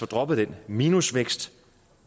droppet den minusvækst